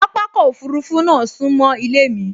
Pápákọ̀ òfurufú náà sún mọ́ ilé mi